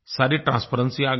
सारी ट्रांसपेरेंसी आ गई